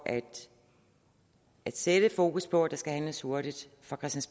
at sætte fokus på at der skal handles hurtigt